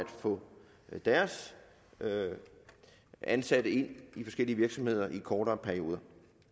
få deres ansatte ind i forskellige virksomheder i kortere perioder